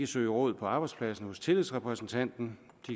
søge råd på arbejdspladsen hos tillidsrepræsentanten